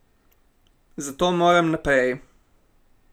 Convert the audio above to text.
Zato moram naprej.